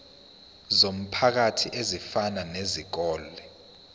zomphakathi ezifana nezikole